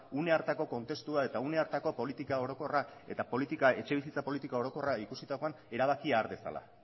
une hartako kontestua eta etxebizitza politika orokorra ikusitakoan erabakia har dezala